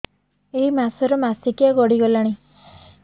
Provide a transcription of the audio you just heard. ଏଇ ମାସ ର ମାସିକିଆ ଗଡି ଗଲାଣି